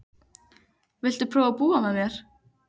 Viltu prófa að búa með mér.